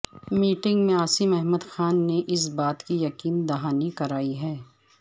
meeting میں عاصم احمد خان نے اس بات کی یقین دہانی کرائی کہ